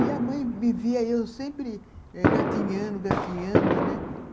E a mãe me via, eu sempre gatinhando, gatinhando, né